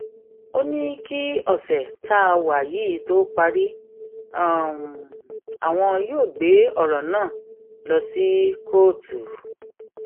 ó ní kí ọṣẹ tá a wà yìí tóó parí àwọn yóò gbé ọrọ náà lọ sí kóòtù